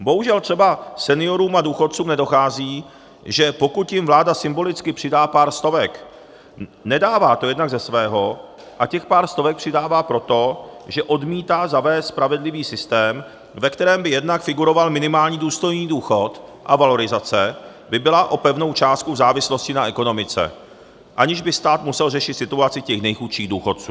Bohužel třeba seniorům a důchodcům nedochází, že pokud jim vláda symbolicky přidá pár stovek, nedává to jednak ze svého, a těch pár stovek přidává proto, že odmítá zavést spravedlivý systém, ve kterém by jednak figuroval minimální důstojný důchod a valorizace by byla o pevnou částku v závislosti na ekonomice, aniž by stát musel řešit situaci těch nejchudších důchodců.